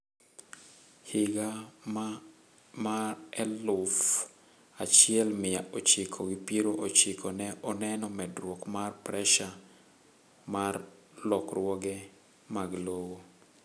Higa ma afuf achiel mia ochiko gi piero ochiko ne oneno medruok mar pressure mar lokruoge mag lowo